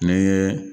Ne ye